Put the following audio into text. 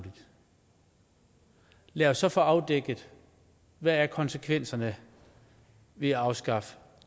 lad os så få afdækket hvad konsekvenserne ved at afskaffe